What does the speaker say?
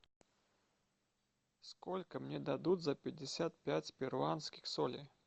сколько мне дадут за пятьдесят пять перуанских солей